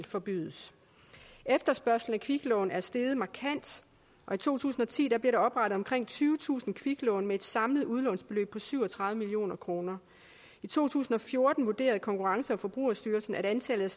forbydes efterspørgslen på kviklån er steget markant i to tusind og ti blev der oprettet omkring tyvetusind kviklån med et samlet udlånsbeløb på syv og tredive million kroner i to tusind og fjorten vurderede konkurrence og forbrugerstyrelsen at antallet